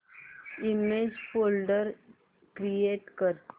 image folder create कर